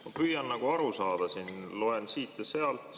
Ma püüan aru saada, loen siit ja sealt.